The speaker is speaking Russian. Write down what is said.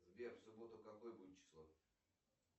сбер в субботу какое будет число